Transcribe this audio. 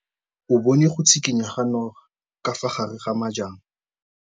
O bone go tshikinya ga noga ka fa gare ga majang.